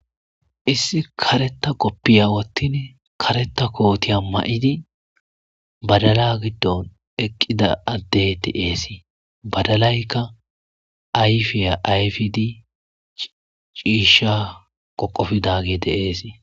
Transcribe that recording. Issi kareta koppiya wottin kareta kootiya ma7idi badala giddon eqqida addey ti eesi badalaykka ayfiya ayfidi ciisha qoqofidagide eesi.